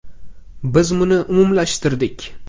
Biz buni umumlashtirdik.